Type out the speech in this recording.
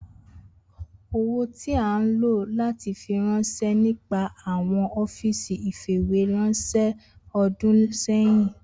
Owo ti a lo lati firanṣẹ nipasẹ awọn ọfiisi ifiweranṣẹ ọdun sẹhin